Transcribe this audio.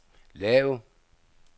lav